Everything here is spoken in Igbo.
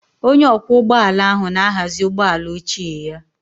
Onye ọkwọ ụgbọ ala ahụ na-ahazi ụgbọ ala ochie ya